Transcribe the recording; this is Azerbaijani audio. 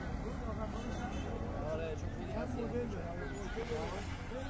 Qara dərəyə özü düzəldi.